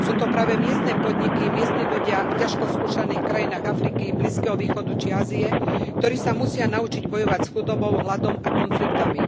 Sú to práve miestne podniky, miestni ľudia v ťažko skúšaných krajinách Afriky, blízkeho východu či Ázie, ktorí sa musia naučiť bojovať s chudobou, hladom a konfliktmi.